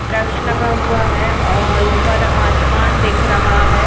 वृक्ष लगा हुआ है और ऊपर आसमान दिख रहा है।